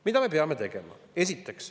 Mida me peame tegema?